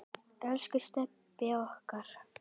Elsku Stebbi okkar.